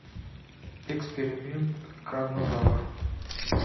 эксперимент карнозавр